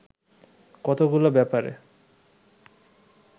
কতগুলো ব্যাপারে